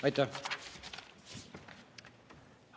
Aitäh!